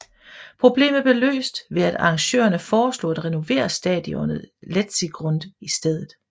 Problemet blev løst ved at arrangørerne foreslog at renovere stadionet Letzigrund i stedet